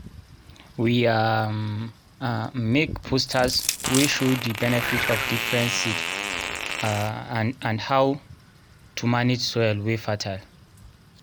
we um make posters wey show the benefit of different seed um and how to manage soil wey fertile